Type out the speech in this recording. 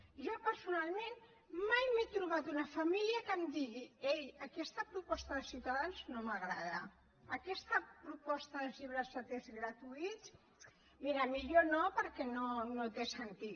jo personalment mai m’he trobat una família que em digui ei aquesta proposta de ciutadans no m’agrada aquesta proposta dels llibres de text gratuïts mira millor no perquè no té sentit